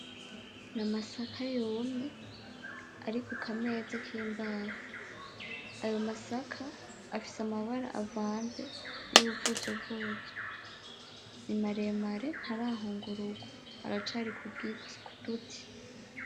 Ni amasaka yumye ari ku kameza kimbaho, ayo masaka afise amabara avanze yuruvuzovuzo, ni maremare ntarahungurugwa aracari kugiti kuduti.